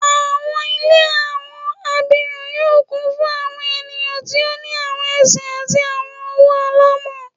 Awọn ile awọn abirun yoo kun fun awọn eniyan ti o ni awọn ẹsẹ ati awọn ọwọ alamọ